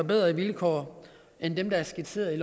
bedre vilkår end dem der er skitseret